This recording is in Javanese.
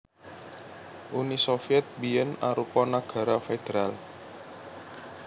Uni Sovyèt biyèn arupa nagara federal